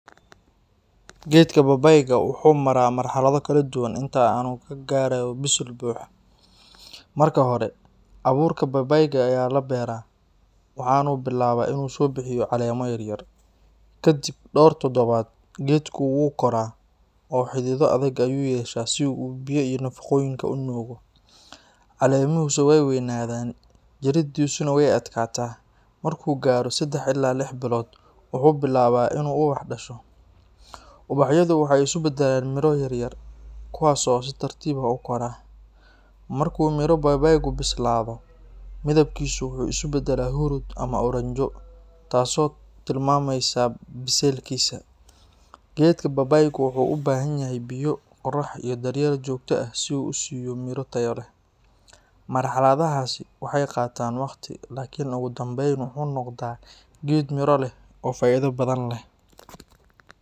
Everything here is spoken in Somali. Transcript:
Geedka babaayga wuxuu maraa marxalado kala duwan inta uu ka gaarayo bisayl buuxa. Marka hore, abuurka babaayga ayaa la beeraa, waxaana uu bilaabaa inuu soo bixiyo caleemo yaryar. Ka dib dhowr toddobaad, geedku wuu koraa oo xididdo adag ayuu yeeshaa si uu biyaha iyo nafaqooyinka u nuugo. Caleemihiisu way weynaadaan, jiridiisuna way adkaataa. Markuu gaaro saddex ilaa lix bilood, wuxuu bilaabaa inuu ubax dhasho. Ubaxyadu waxay isu beddelaan miro yaryar, kuwaas oo si tartiib ah u koraa. Marka uu miro babaaygu bislaado, midabkiisu wuxuu isu beddelaa huruud ama oranjo, taasoo tilmaamaysa bisaylkiisa. Geedka babaaygu wuxuu u baahan yahay biyo, qorrax iyo daryeel joogto ah si uu u siiyo miro tayo leh. Marxaladahaasi waxay qaataan waqti, laakiin ugu dambayn wuxuu noqdaa geed miro leh oo faa’iido badan leh.